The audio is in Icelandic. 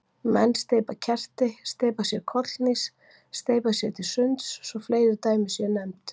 Menn steypa kerti, steypa sér kollhnís, steypa sér til sunds svo fleiri dæmi séu nefnd.